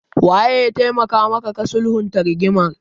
Wanene ya taimaka maka ka sulhunta rigimar?